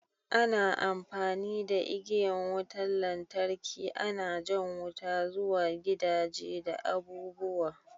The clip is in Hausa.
Ana amfani da igiyan wutan lantarki ana jan wuta zuwa gidaje da abu'buwa.